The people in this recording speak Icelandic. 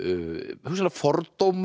hugsanlega fordóma